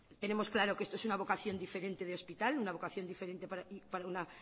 tenemos claro que esto es una vocación diferente de hospital una vocación diferente para una